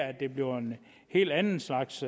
at det bliver en helt anden slags